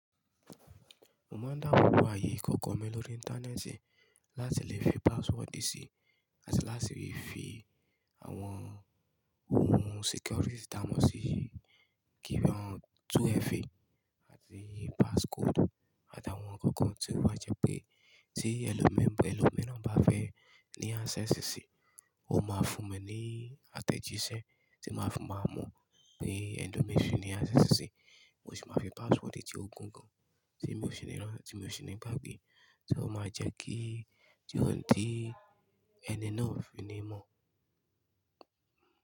Mo máa ń dábo bo ààyè ikoko mi lórí ìntanẹ́ẹ̀tì láti lè fi password sí, àti láti fi àwọn ohun security támọ́ sí i, 2FA àti passcode àti àwọn ǹkan kan tí ó máa jẹ́ pé tí ẹlòmíràn bá fẹ́ ní access sí i, ó máa fún mi ní àtẹ̀jíṣẹ́ tí máa fi máa mọ̀ pé ẹlomìíràn fẹ́ ní access sí i. Mo sì máa fi password tí ó gun gan tí mo fi rántí, ti mi ò sì ní gbágbé. Só, o ma jẹ́ kí tí ó ń dí ẹni náà o fi ní mọ̀.